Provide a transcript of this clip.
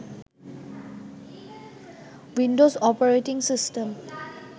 Windows operating system